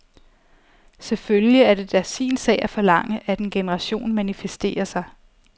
Selvfølgelig er det da sin sag at forlange, at en generation manifesterer sig.